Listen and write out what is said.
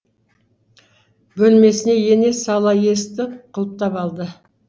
бөлмесіне ене сала есікті құлыптап алды